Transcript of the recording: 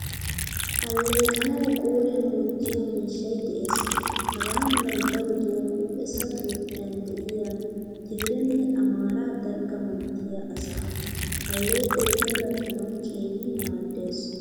Alleqanawu qoriyan wottiyo miishshay de'ees. Hagaa malay daroto huuphphessa toophphiyan de'iya tigirenne amaara dalgga manttiya asaa. Alleeqoy puulattanawu keehin maaddees.